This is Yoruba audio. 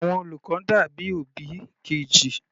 Àwọn olùkọ́ dàbí òbí Kejì.